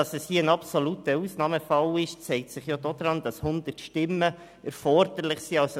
Dass hier ein absoluter Ausnahmefall vorliegt, zeigt sich daran, dass 100 Stimmen erforderlich sind.